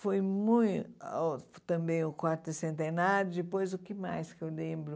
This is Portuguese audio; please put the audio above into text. Foi mui ãh também o quarto centenário, depois o que mais que eu lembro?